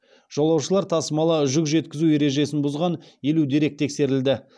жолаушылар тасымалы жүк жеткізу ережесін бұзған елу дерек тексерілді